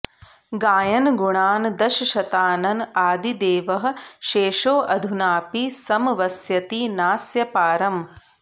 गायन् गुणान् दशशतानन आदिदेवः शेषोऽधुनापि समवस्यति नास्य पारम्